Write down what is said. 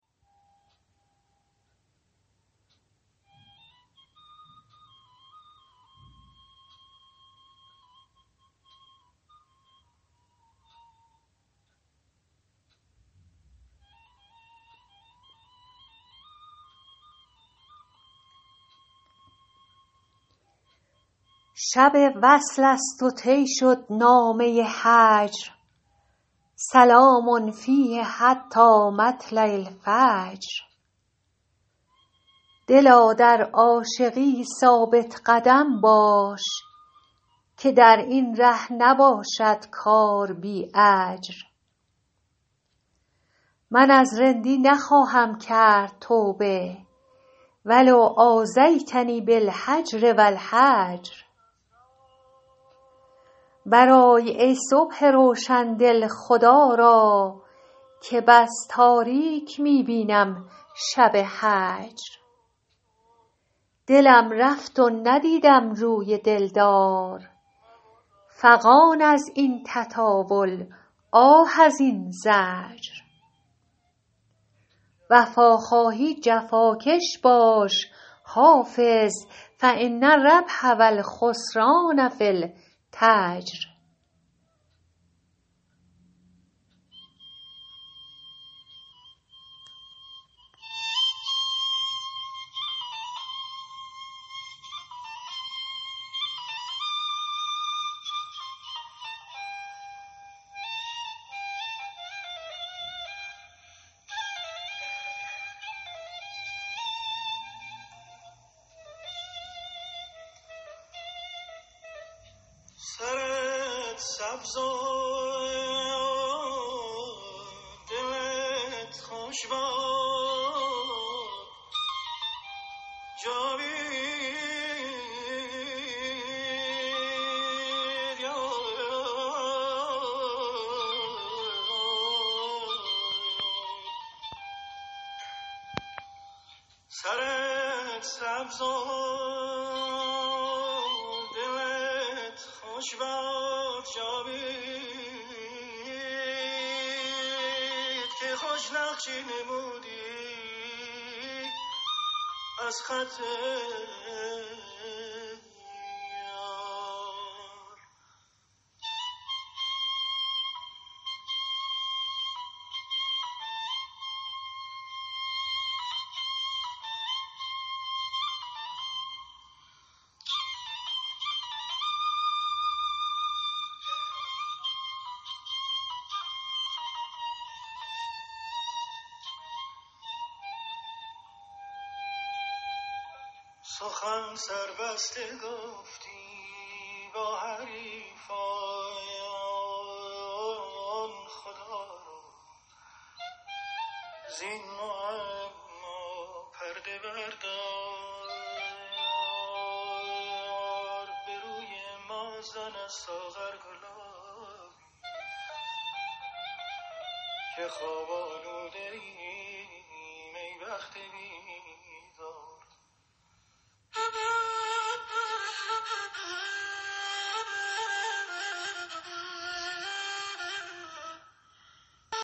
شب وصل است و طی شد نامه هجر سلام فیه حتی مطلع الفجر دلا در عاشقی ثابت قدم باش که در این ره نباشد کار بی اجر من از رندی نخواهم کرد توبه و لو آذیتنی بالهجر و الحجر برآی ای صبح روشن دل خدا را که بس تاریک می بینم شب هجر دلم رفت و ندیدم روی دل دار فغان از این تطاول آه از این زجر وفا خواهی جفاکش باش حافظ فان الربح و الخسران في التجر